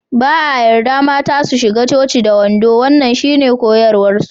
Ba a yarda mata su shiga coci da wando wannan shine koyarwarsu.